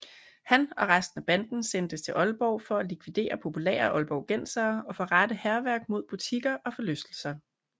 Han og resten af banden sendtes til Aalborg for at likvidere populære aalborgensere og forrette hærværk mod butikker og forlystelser